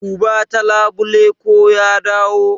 Duba ta labule ko ya dawo.